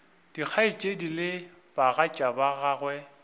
dikgaetšedi le bagatša ba gagwe